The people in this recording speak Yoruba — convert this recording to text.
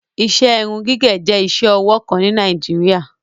Iṣẹ irun-gigẹ jẹ̀ iṣẹ-ọwọ kan ni Nàìjíríà